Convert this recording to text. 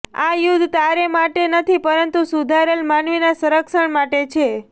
આ યુદ્ધ તારે માટે નથી પરંતુ સુધરેલા માનવીના રક્ષણ માટે છે